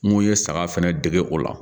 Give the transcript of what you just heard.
N ko ye saga fɛnɛ dege o la